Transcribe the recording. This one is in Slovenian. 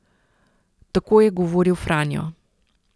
Tako je govoril Franjo.